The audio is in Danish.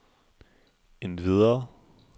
endvidere